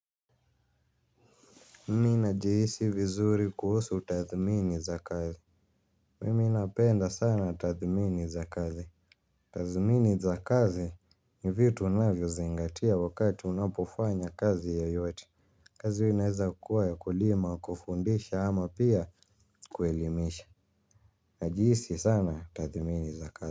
Mimi najihisi vizuri kuhusu tathmini za kazi. Mimi napenda sana tathmini za kazi. Tathmini za kazi ni vitu unavyozingatia wakati unapofanya kazi yoyote. Kazi unaeza kukuwa ya kulima, kufundisha ama pia kuelimisha. Najihisi sana tathmini za kazi.